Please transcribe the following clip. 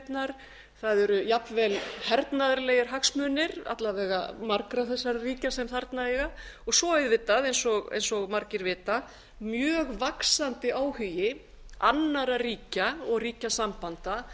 skipaleiðirnar það eru jafnvel hernaðarlegir hagsmunir alla vega margra þessara ríkja sem þarna eru og svo auðvitað eins og margir vita mjög vaxandi áhugi annarra ríkja og ríkjasambanda